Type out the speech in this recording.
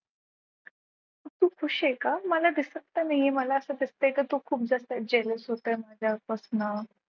तू खूप खुश आहे का मला दिसत तर नाही आहे मला असं दिसतंय की तू खूप जास्त jealous होतंय माझ्यापासन.